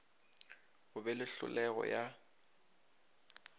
go be le hlolego ya